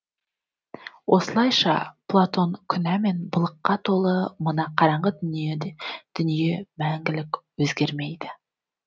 осылайша платон күнә мен былыққа толы мына қараңғы дүние мәңгілік өзгермейді